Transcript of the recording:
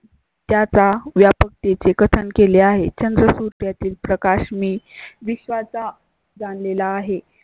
त्याचा व्यापकत्याचे कथन केले आहे. चंद्र सुर्या तील प्रकाश मी विश्वाचा जनतेला आहे